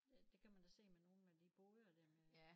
Ja det kan man da se med nogle af de boder der med